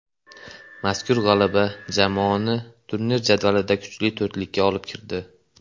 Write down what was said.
Mazkur g‘alaba jamoani turnir jadvalida kuchli to‘rtlikka olib kirdi.